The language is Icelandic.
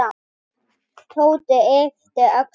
Tóti yppti öxlum.